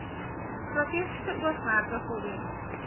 strategiese oogmerke voldoen